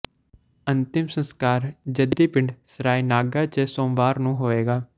ਅੰਤਿਮ ਸਸਕਾਰ ਜੱਦੀ ਪਿੰਡ ਸਰਾਏਨਾਗਾ ਚ ਸੋਮਵਾਰ ਨੂੰ ਹੋਏਗਾ